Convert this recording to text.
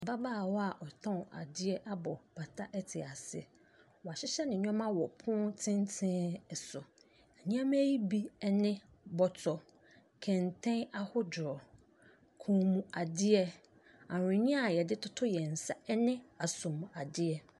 Ababaawa a wɔtɔn adeɛ abɔ apata te ase wahyehyɛ ne nneɛma ɛwɔ pono tententen so nneɛma yi bi ɛne bɔtɔ kɛntɛn ahodoɔ kɔn mu adeɛ ahwenneɛ a yɛde toto yɛn nsa ɛne asom adeɛ.